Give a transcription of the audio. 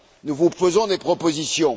Nous vous faisons des propositions.